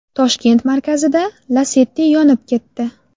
Toshkent markazida Lacetti yonib ketdi.